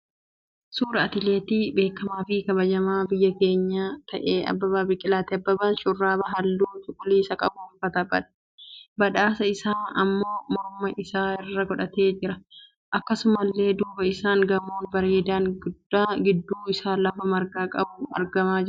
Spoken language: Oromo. Suuraa atileetii beekamaa fi kabajamaa biyya keenyaa kan ta'ee Abbabaaa Biqilaati. Abbabaan shurraaba halluu cuquliisa qabu uffatee, badhaasa isaa immoo morma isaa irra godhatee jira. Akkasumallee duuba isaan gamoon bareedaan gidduu isaa lafa margaa qabu argamaa jira.